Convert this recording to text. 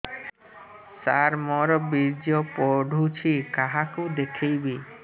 ସାର ମୋର ବୀର୍ଯ୍ୟ ପଢ଼ୁଛି କାହାକୁ ଦେଖେଇବି